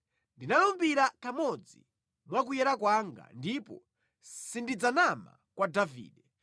Ndinalumbira kamodzi mwa kuyera kwanga ndipo sindidzanama kwa Davide,